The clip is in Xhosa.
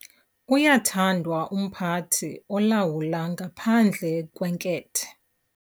Uyathandwa umphathi olawula ngaphandle kwenkethe.